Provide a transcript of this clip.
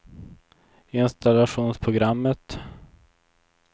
installationsprogrammet